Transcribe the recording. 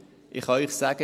Ich kann Ihnen sagen: